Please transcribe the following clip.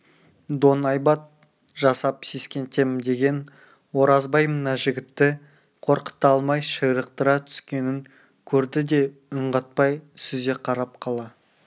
доңайбат жасап сескентем деген оразбай мына жігітті қорқыта алмай ширықтыра түскенін көрді де үн қатпай сүзе қарап қала